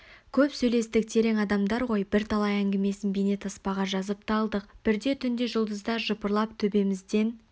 көп сөйлестік терең адам ғой бірталай әңгімесін бейнетаспаға жазып та алдық бірде түнде жұлдыздар жыпырлап төбемізден